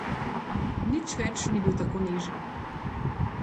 Nič več ni bil tako nežen.